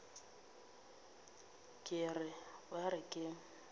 ke re ba re ke